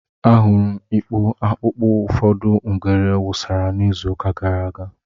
Ahụrụ m ikpo akpụkpọ ụfọdụ ngwere wụsara n'izuụka gara aga.